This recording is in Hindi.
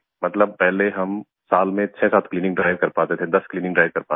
मतलब पहले हम साल में 67 क्लीनिंग ड्राइव कर पाते थे 10 क्लीनिंग ड्राइव कर पाते थे